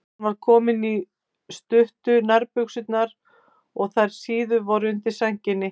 Hann var kominn í stuttu nærbuxurnar og þær síðu voru undir sænginni.